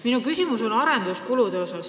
Minu küsimus on arenduskulude kohta.